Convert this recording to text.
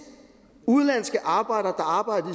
udenlandske arbejdere